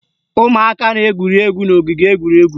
Ụmụaka na-egwuri egwu n'ogige egwuregwu